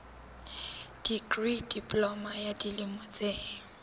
dikri diploma ya dilemo tse